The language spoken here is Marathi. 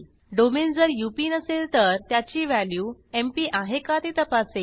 डोमेन जर अप नसेल तर त्याची व्हॅल्यू एमपी आहे का ते तपासेल